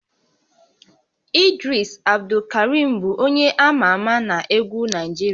Idris Abdulkarim bụ onye ama ama na egwu Naịjirịa